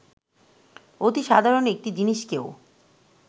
অতি সাধারণ একটি জিনিসকেও